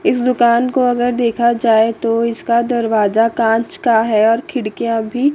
इस दुकान को अगर देखा जाए तो इसका दरवाजा कांच का है और खिड़कियां भी--